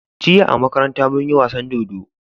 Jiya a makaranta munyi wasan dodo